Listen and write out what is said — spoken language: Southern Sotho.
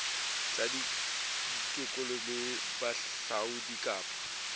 tsa tikoloho le bohahlaudi kapa